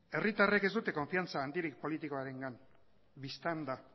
herritarrek ez dute konfidantza handirik politikoarengan bistan da